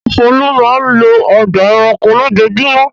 Ṣé Folu máa ń lọ ọgbà-ẹranko lójoojúmọ́?